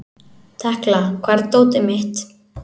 Tekla, hvar er dótið mitt?